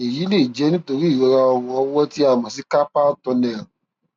èyí lè jẹ nítorí ìrora ọrùn ọwọ tí a mọ sí carpal tunnel